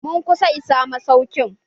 Mun kusa isa masaukin.